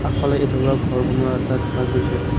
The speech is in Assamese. আগফালে আধৰুৱা ঘৰ বনুৱা এটা দেখা গৈছে।